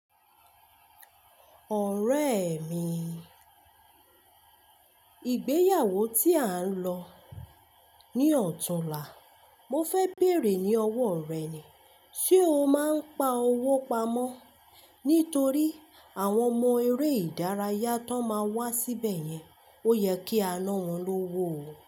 Ọ̀rẹ́ mi ìgbéyàwó tí an lọ ní ọ̀tún la mo fẹ́ bèèrè ní ọwọ́ rẹ ni ṣe o máa n pa owó pamọ́ nítorí àwọn ọmọ eré ìdárayá tón máa wá síbẹ̀ yẹn, ó yẹ kí à ńa wọn lówó.